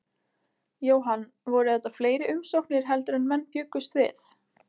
Jóhann, voru þetta fleiri umsóknir heldur en menn bjuggust við?